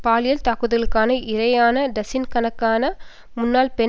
பாலியல் தாக்குதலுக்கு இரையான டசின் கணக்கான முன்னாள் பெண்